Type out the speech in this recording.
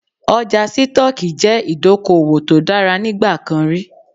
Ọjà Sítọ́ọ́kì jẹ́ ìdókòwò tó dára nígbà kan rí.